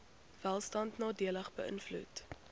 welstand nadelig beïnvloed